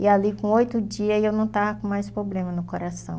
E ali com oito dias eu não estava com mais problema no coração.